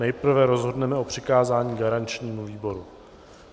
Nejprve rozhodneme o přikázání garančnímu výboru.